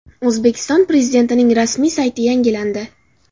O‘zbekiston Prezidentining rasmiy sayti yangilandi.